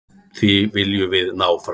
Því viljum við ná fram.